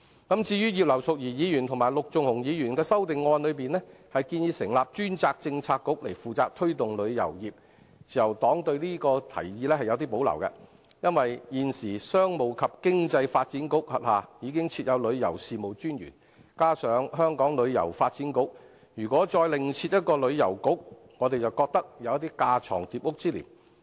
對於葉劉淑儀議員及陸頌雄議員的修正案中建議，成立專責政策局負責推動旅遊業，自由黨對這提議是有保留的，因為現時商務及經濟發展局轄下已設有旅遊事務署，加上香港旅遊發展局，如果再另設一個旅遊局，我們便覺得有架床疊屋之嫌。